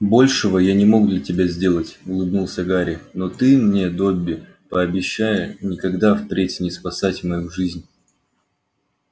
большего я не мог для тебя сделать улыбнулся гарри но ты мне добби пообещай никогда впредь не спасать мою жизнь